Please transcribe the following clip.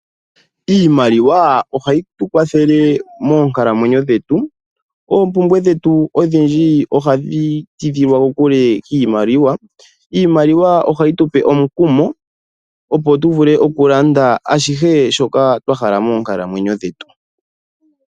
Iimaliwa ohayi tu kwathele moonkalamwenyo dhetu. Oompumbwe dhetu odhindji ohadhi tidhilwa kokule kiimaliwa. Iimaliwa ohayi tupe omukumo opo tu vule okulanda ashihe shoka twa hala moonkalamwenyo dhetu.